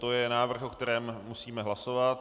To je návrh, o kterém musíme hlasovat.